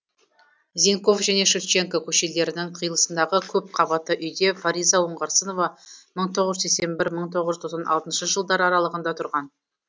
зенков және шевченко көшелерінің қиылысындағы көпқабатты үйде фариза оңғарсынова мың тоғыз жүз сексен бір мың тоғыз жүз тоқсан алтыншы жылдар аралығында тұрған